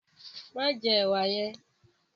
Ma jẹ ẹwà yẹn!